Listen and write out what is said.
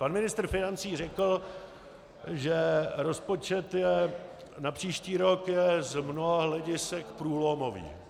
Pan ministr financí řekl, že rozpočet na příští rok je z mnoha hledisek průlomový.